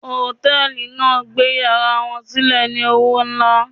Hòtẹ́ẹ̀lì náà gbé yàrá wọn sílẹ̀ ní owó nlá.